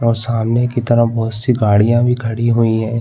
और सामने की तरफ़ बोहत सी गाड़ियाँ भी खड़ी हुई हैं।